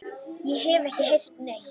Ég hef ekki heyrt neitt.